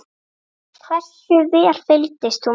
Hversu vel fylgdist þú með?